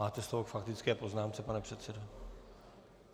Máte slovo k faktické poznámce, pane předsedo.